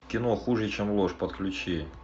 кино хуже чем ложь подключи